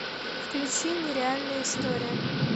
включи нереальная история